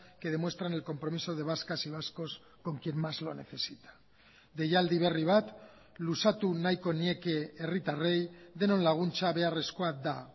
que demuestran el compromiso de vascas y vascos con quien más lo necesita deialdi berri bat luzatu nahiko nieke herritarrei denon laguntza beharrezkoa da